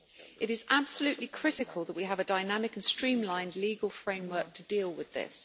It is absolutely critical that we have a dynamic and streamlined legal framework to deal with this.